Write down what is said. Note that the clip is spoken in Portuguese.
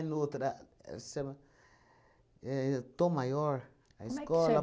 noutra... Chama éh Tom Maior, a escola... Como é que